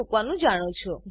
મુકવાનું જાણો છો